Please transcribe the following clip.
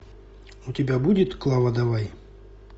у тебя будет клава давай